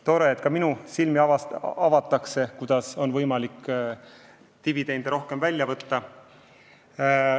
Tore, et ka minu silmi avatakse, kuidas on võimalik dividende rohkem välja võtta.